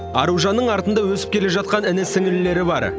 аружанның артында өсіп келе жатқан іні сіңлілері бар